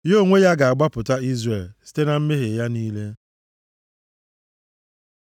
Ya onwe ya, ga-agbapụta Izrel site na mmehie ya niile.